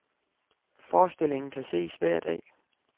Forestillingen kan ses hver dag.